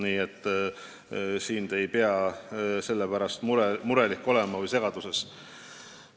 Nii et te ei pea selle pärast murelik või segaduses olema.